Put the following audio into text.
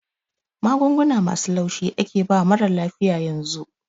Magunguna masu laushi ake bawa marar lafiya yanzu